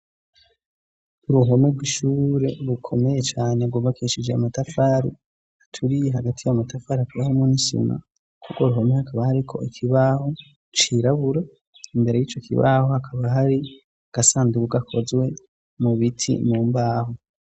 uruhome rw'ishure rukomeye cane gubakishije amatafari aturiye hagati yamatafari akibahomo nisina kuko ruhome hakaba hariko ikibaho cirabura imbere y'ico kibaho hakaba hari gasandubuka hakozwe mu biti mu mbaho